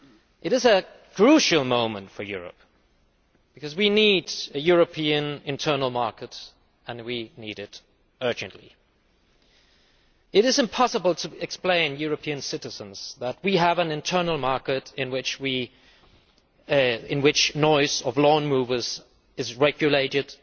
It is a crucial moment for Europe, because we need a European internal market and we need it urgently. It is impossible to explain to European citizens that we have an internal market in which the noise from lawnmowers is regulated,